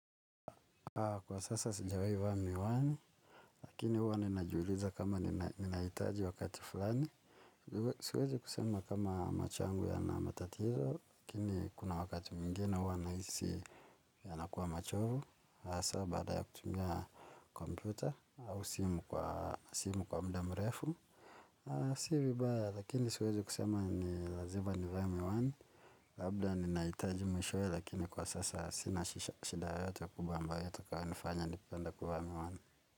Kwa sasa sijawahi vaa miwani lakini huwa ninajiuliza kama ninahitaji wakati fulani. Siwezi kusema kama macho yangu yana matatizo, lakini kuna wakati mwingine huwa nahisi yanakuwa machovu. Hasa baada ya kutumia kompyuta au simu kwa muda mrefu. Si vibaya, lakini siwezi kusema ni lazima nivae miwani. Labda ninahitaji mwishowe lakini kwa sasa sina shida yoyote kubwa ambayo yatakayonifanya nipende kuvaa miwani.